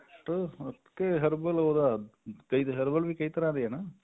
ਕੇ herbal ਉਹਦਾ ਕਈ ਏ herbal ਵੀ ਕਈ ਤਰ੍ਹਾਂ ਦੇ ਆ ਨਾ